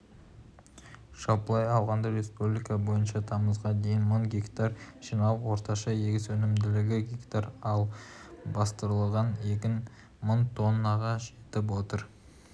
жалпылай алғанда республика бойынша тамызға дейін мың га жиналып орташа егіс өнімділігі га ал бастырылған егін мың тоннаға жетіп отыр